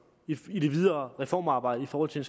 i det videre reformarbejde i forhold til